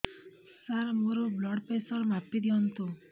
ସାର ମୋର blood pressure ମାପି ଦିଅନ୍ତୁ